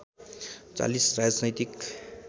४० राजनैतिक